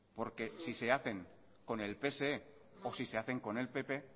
porque si se hacen con el pse o si se hacen con el pp